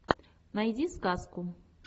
найди сказку